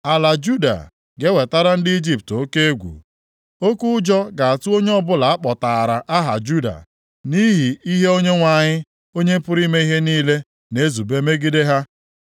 Ala Juda ga-ewetara ndị Ijipt oke egwu, oke ụjọ ga-atụ onye ọbụla akpọtaara aha Juda, nʼihi ihe Onyenwe anyị, Onye pụrụ ime ihe niile na-ezube megide ha.